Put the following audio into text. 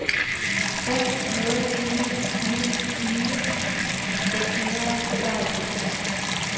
fem nul ni ni tyve seks hundrede og tooghalvfems